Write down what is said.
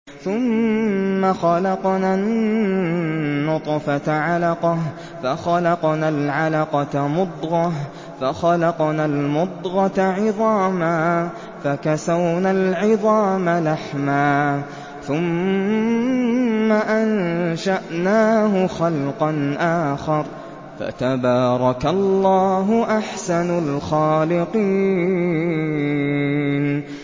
ثُمَّ خَلَقْنَا النُّطْفَةَ عَلَقَةً فَخَلَقْنَا الْعَلَقَةَ مُضْغَةً فَخَلَقْنَا الْمُضْغَةَ عِظَامًا فَكَسَوْنَا الْعِظَامَ لَحْمًا ثُمَّ أَنشَأْنَاهُ خَلْقًا آخَرَ ۚ فَتَبَارَكَ اللَّهُ أَحْسَنُ الْخَالِقِينَ